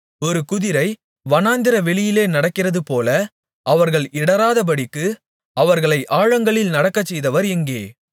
ஒரு குதிரை வனாந்திரவெளியிலே நடக்கிறதுபோல அவர்கள் இடறாதபடிக்கு அவர்களை ஆழங்களில் நடக்கச்செய்தவர் எங்கே